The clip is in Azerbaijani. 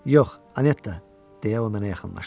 Yox, Anetta, deyə o mənə yaxınlaşdı.